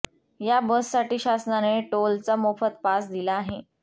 या बससाठी शासनाने टोलचा मोफत पास दिला आहे